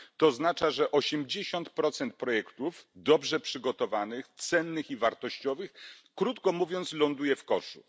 To oznacza, że 80 projektów dobrze przygotowanych, cennych i wartościowych krótko mówiąc ląduje w koszu.